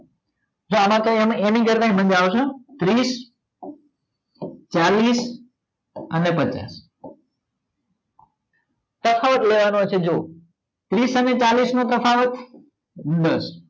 જો આમાં તો એની કરતે મજા આવસે ત્રીસ ચાલીસ અને પચાસ તફાવત જોવાનો છે જો ત્રીસ અને ચાલીસ નો તફાવત દસ